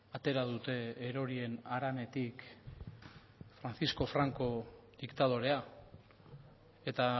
atera dute erorien haranetik francisco franco diktadorea eta